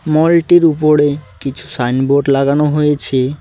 মলটির উপরে কিছু sign board লাগানো হয়েছে।